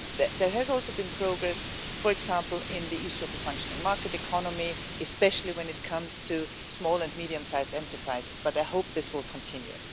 There has also been progress, for example, on the issue of a functioning market economy, especially when it comes to small and medium sized enterprises, and I hope this will continue.